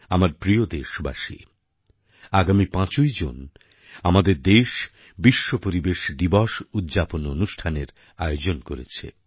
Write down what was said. আমার প্রিয় দেশবাসী আগামী ৫ই জুন আমাদের দেশ বিশ্ব পরিবেশ দিবস উদ্যাপন অনুষ্ঠানটির আয়োজন করছে